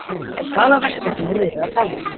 En hvaða verkefni er verið að tala um?